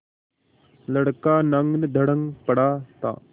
लड़का नंगधड़ंग पड़ा था